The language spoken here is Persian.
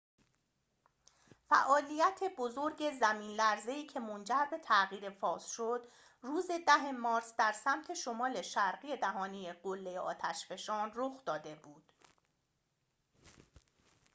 فعالیت بزرگ زمین‌لرزه‌ای که منجر به تغییر فاز شد روز ۱۰ مارس در سمت شمال شرقی دهانه قلّه آتش‌فشان رخ داده بود